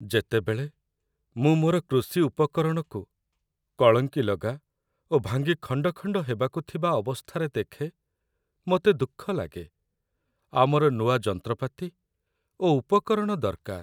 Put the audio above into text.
ଯେତେବେଳେ ମୁଁ ମୋର କୃଷି ଉପକରଣକୁ କଳଙ୍କିଲଗା ଓ ଭାଙ୍ଗି ଖଣ୍ଡ ଖଣ୍ଡ ହେବାକୁ ଥିବା ଅବସ୍ଥାରେ ଦେଖେ, ମୋତେ ଦୁଃଖ ଲାଗେ ଆମର ନୂଆ ଯନ୍ତ୍ରପାତି ଓ ଉପକରଣ ଦରକାର।